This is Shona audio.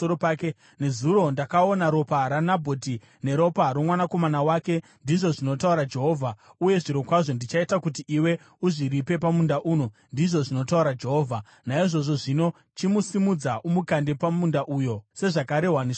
‘Nezuro ndakaona ropa raNabhoti neropa romwanakomana wake, ndizvo zvinotaura Jehovha, uye zvirokwazvo ndichaita kuti iwe uzviripe pamunda uno, ndizvo zvinotaura Jehovha.’ Naizvozvo zvino, chimusimudza umukande pamunda uyo, sezvakarehwa neshoko raJehovha.”